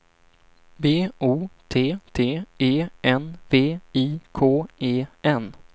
B O T T E N V I K E N